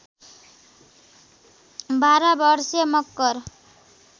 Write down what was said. १२ वर्षे मकर